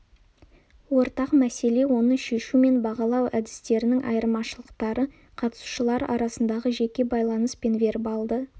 ортақ мәселе оны шешу мен бағалау әдістерінің айырмашылықтары қатысушылар арасындағы жеке байланыс пен вербалды